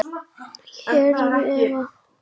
Heyrðu, Eva.